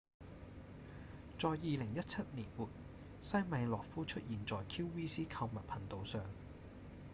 在2017年末西米諾夫出現在 qvc 購物頻道上